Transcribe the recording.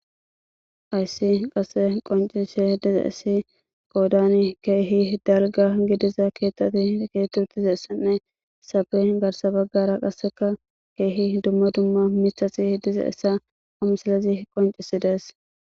Hayssi qase qoncise dize issi qoodan keehi dalga gidiza keettati dkeetutize essanne safe garsa baggara qasseka keehi dumma dumma mitaxi dize essa oomusillezi qoncisidees.